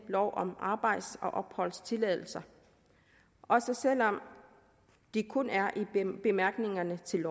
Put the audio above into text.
lov om arbejds og opholdstilladelser også selv om det kun er i bemærkningerne til